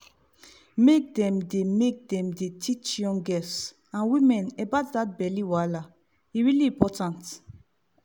make dem dey make dem dey teach young girls and women about that belly wahala e really important